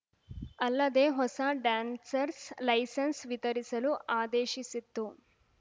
ಅಲ್ಲದೆ ಹೊಸ dancers licence ವಿತರಿಸಲೂ ಆದೇಶಿಸಿತ್ತು